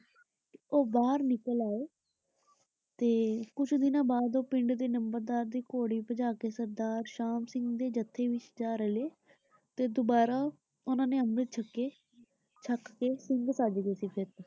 ਉਹ ਬਾਹਰ ਨਿਕਲ ਆਏ ਤੇ ਕੁਛ ਦਿਨਾਂ ਬਾਅਦ ਪਿੰਡ ਦੇ ਨੰਬਰਦਾਰ ਘੋੜੀ ਭਜਾ ਕੇ ਸਰਦਾਰ ਸ਼ਾਮ ਸਿੰਘ ਦੇ ਜਥੇ ਵਿਚ ਜਾ ਰਲੇ ਤੇ ਦੁਬਾਰਾ ਉਨ੍ਹਾਂ ਨੇ ਅੰਮ੍ਰਿਤ ਛਕੇ, ਛਕ ਕੇ ਸਿੰਘ ਸਜਗੇ ਸੀ ਫਿਰ ਤੋਂ।